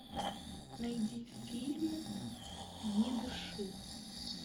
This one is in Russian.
найди фильм не дыши